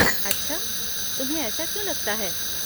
अच्छा, तुम्हें ऐसा क्यों लगता है?